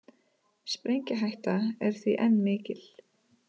Sprengihætta er því enn mikil